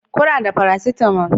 Kuna da paracetamol